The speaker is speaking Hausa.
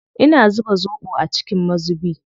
Ina zuba zoɓo a cikin mazubi.